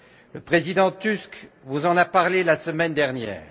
Le président Tusk vous en a parlé la semaine dernière.